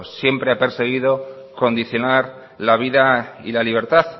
siempre ha perseguido condicionar la vida y la libertad